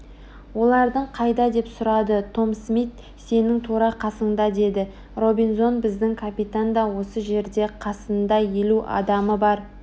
оларың қайда деп сұрады том смит сенің тура қасыңда деді робинзон біздің капитан да осы жерде қасында елу адамы бар